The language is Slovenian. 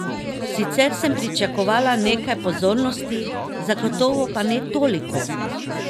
Sicer sem pričakovala nekaj pozornosti, zagotovo pa ne toliko!